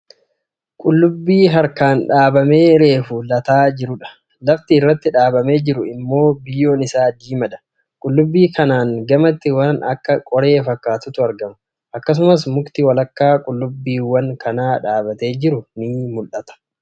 Qullubii harkaan dhaabamee reefu lataa jirudha. Lafti irratti dhaabamee jiru immoo biyyoon isaa diimaadha. Qullubii kanaan gamatti waan akka qoree fakkatutu argama. Akkasumas mukti walakkaa qullubbiiwan kanaa dhaabbatee jiru ni mul'ata.